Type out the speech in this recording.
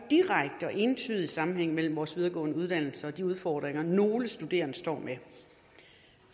direkte og entydig sammenhæng mellem vores videregående uddannelser og de udfordringer nogle studerende står med